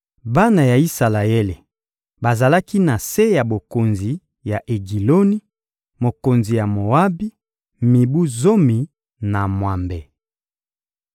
Bana ya Isalaele bazalaki na se ya bokonzi ya Egiloni, mokonzi ya Moabi, mibu zomi na mwambe.